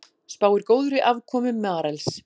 Spáir góðri afkomu Marels